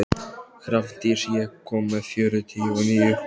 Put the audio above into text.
Hrafndís, ég kom með fjörutíu og níu húfur!